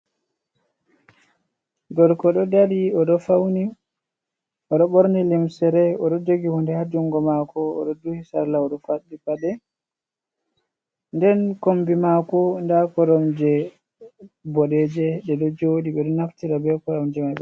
Gorko ɗo dari oɗo fauni oɗo ɓorni limsere oɗo jogi hunde ha jungo mako, oɗo duhi salla oɗo faddit paɗe, den kombi mako nda korom je boɗeje ɗe ɗo joɗi ɓe ɗo naftira be koromje mai ɓe.